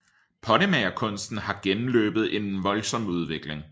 Pottemagerkunsten har gennemløbet en voldsom udvikling